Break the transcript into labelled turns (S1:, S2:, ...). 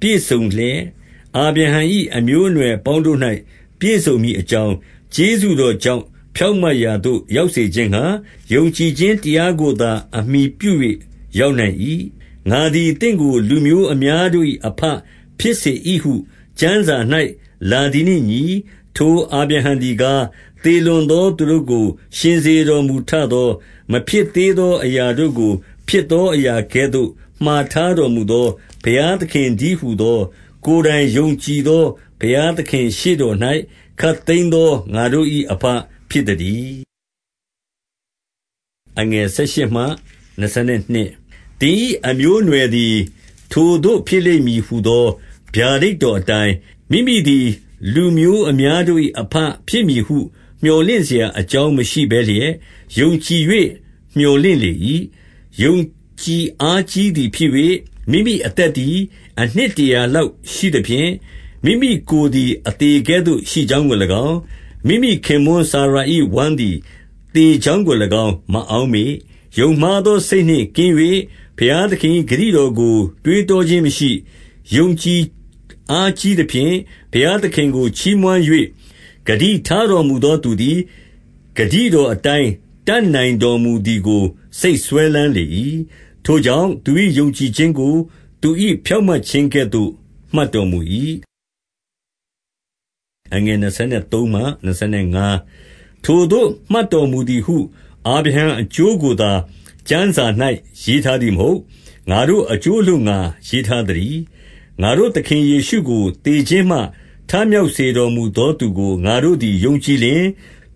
S1: ပြည့်စုံလျက်၊ အာဗြဟံ၏အမျိုးအနွယ်အပေါင်းတို့၌ ပြည့်စုံမည်အကြောင်း၊ ကျေးဇူးတော်ကြောင့်ဖြောင့်မတ်ရာသို့ရောက်စေခြင်းငှါ၊ ယုံကြည်ခြင်းတရားကိုသာ အမှီပြု၍ ရောက်နိုင်၏။ 17 ငါသည် သင့်ကို လူမျိုးအများတို့၏အဘ ဖြစ်စေ၏ဟု ကျမ်းစာ၌ လာသည်နှင့်အညီ၊ ထိုအာဗြဟံ သည်ကား၊ သေလွန်သောသူတို့ကို ရှင်စေတော်မူထသော၊ မဖြစ်သေးသောအရာတို့ကို ဖြစ်သောအရာကဲ့သို့ မှာထားတော်မူသော ဘုရားသခင်တည်းဟူသော၊ ကိုယ်တိုင် ယုံကြည်သော ဘုရားရှေ့တော်၌ ခပ်သိမ်းသောငါတို့၏ အဘဖြစ်သတည်း။ 18 သင်၏အမျိုးအနွယ်သည် ထိုသို့ဖြစ်လိမ့်မည် ဟူသော ဗျာဒိတ်တော်အတိုင်း၊ မိမိသည် လူမျိုးအများ တို့၏ အဘဖြစ်မည်ဟု မြော်လင့်စရာအကြောင်းမရှိဘဲလျက်ယုံကြည်၍ မြော်လင့်လေ၏။ 19 ယုံကြည်အားကြီးသည်ဖြစ်၍ မိမိအသက်သည် အနှစ်တရာလောက်ရှိသဖြင့်၊ မိမိကိုယ်သည်အသေ ကဲ့သို့ ရှိကြောင်းကို၎င်း၊ မိမိခင်ပွန်းစာရာ၏ ဝမ်းသည် သေကြောင်းကို၎င်း မအောက်မေ့၊ 20 ယုံမှားသောစိတ်နှင့်ကင်း၍ ဘုရားသခင်၏ ဂတိတော်ကို တွေးတောခြင်းမရှိ၊ ယုံကြည်အားကြီးသဖြင့် ဘုရားသခင်ကို ချီးမွမ်း၍၊ 21 ဂတိထားတော်မူသောသူသည် ဂတိတော်အတိုင်း တတ်နိုင်တော်မူသည်ကို စိတ်စွဲလမ်းလေ၏။ 22 ထိုကြောင့်၊ သူ၏ယုံကြည်ခြင်းကို သူ၏ ဖြောင့်မတ်ခြင်းကဲ့သို့ မှတ်တော်မူ၏။ 23 ထိုသို့မှတ်တော်မူသည်ဟု အာဗြဟံအကျိုး အလိုငှါသာ ကျမ်းစာ၌ ရေးထားသည်မဟုတ်။ 24 ငါတို့အကျိုးအလိုငှါရေးထားသတည်း။ ငါတို့ သခင်ယေရှုကို သေခြင်းမှထမြောက်စေတော်မူသော သူကိုငါတို့သည် ယုံကြည်လျှင်၊